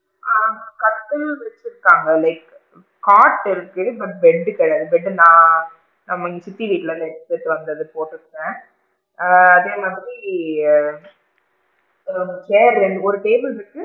ஆ கட்டில் குடுத்து இருக்காங்க like cot இருக்கு but bed கிடையாது bed டு நான், நம்ம இங்க சித்தி வீட்ல இருந்து எடுத்துட்டு வந்தது இங்க போட்டு இருக்கேன், ஆ அதே மாதிரி chair றேன் ஒரு table இருக்கு,